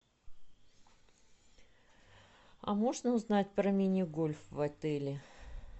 а можно узнать про мини гольф в отеле